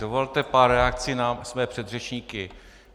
Dovolte pár reakcí na své předřečníky.